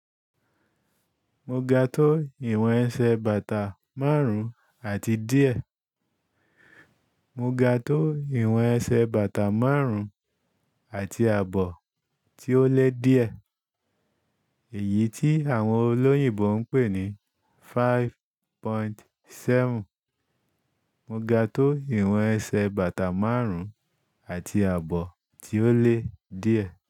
Mo ga tó ìwọ̀n ẹsẹ̀ bàtà márùn àti díẹ̀. Mo ga tó ìwọ̀n ẹsẹ̀ bàtà márùn àti ààbọ̀ tí ó le díẹ̀. Èyí tí àwọn olóyìnbo ń pè ní five point seven. Mo ga tó ìwọ̀n ẹsẹ̀ bàtà márùn-ún àti ààbọ̀ tí ó le díẹ̀.